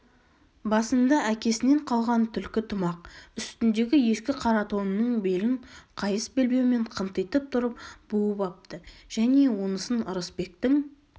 басында әкесінен қалған түлкі тымақ үстіндегі ескі қара тонының белін қайыс белбеумен қынтитып тұрып буып апты және онысын ырысбектің